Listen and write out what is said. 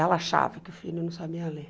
Ela achava que o filho não sabia ler.